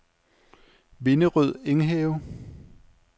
Vinderød Enghave